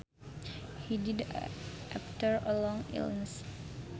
He died after a long illness